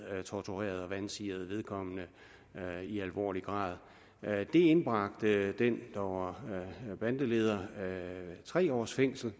torturerede og vansirede vedkommende i alvorlig grad det indbragte den der var bandeleder tre års fængsel